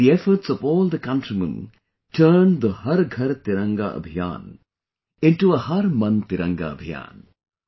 The efforts of all the countrymen turned the 'Har Ghar Tiranga Abhiyan' into a 'Har Man Tiranga Abhiyan'